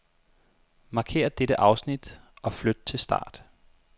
Markér dette afsnit og flyt til start.